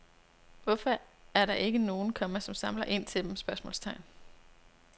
Hvorfor er der ikke nogen, komma som samler ind til dem? spørgsmålstegn